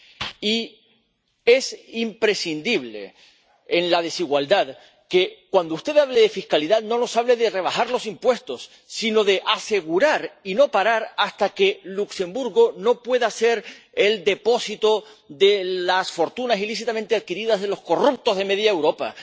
Y es imprescindible, ante la desigualdad, que, cuando usted hable de fiscalidad, no nos hable de rebajar los impuestos, sino de asegurar y no parar hasta que Luxemburgo no pueda ser el depósito de las fortunas ilícitamente adquiridas de los corruptos de media Europa